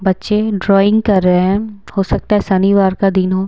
बच्चे ड्राइंग कर रहे हैं हो सकता है शनिवार का दिन हो--